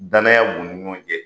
Danaya b'u ni ɲɔgɔn cɛ.